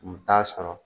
U t'a sɔrɔ